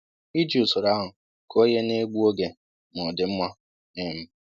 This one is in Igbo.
Iji usoro ahụ kụọ ihe na-egbu oge ma ọ dị mma um